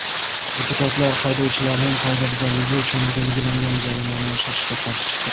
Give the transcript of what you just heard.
Deputatlar haydovchilarning qoidabuzarligi uchun belgilangan jarimani oshirishga qarshi chiqdi.